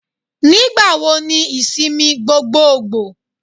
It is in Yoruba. Nígbà wo ni ìsinmi gbogboògbò.?